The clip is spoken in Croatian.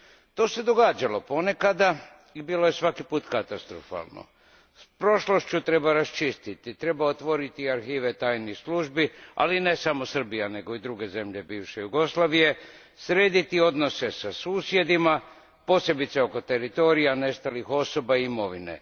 To se događalo ponekad i bilo je svaki put katastrofalno. S prošlošću treba raščistiti, treba otvoriti arhive tajnih službi, ali ne samo Srbija nego i druge zemlje bivše Jugoslavije, srediti odnose sa susjedima, posebice oko teritorija, nestalih osoba i imovine.